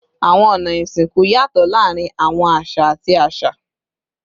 Awọn ọna isinku yatọ laarin awọn aṣa ati aṣa